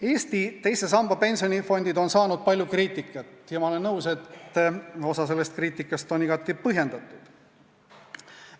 Eesti teise samba pensionifondid on saanud palju kriitikat ja ma olen nõus, et osa sellest kriitikast on igati põhjendatud.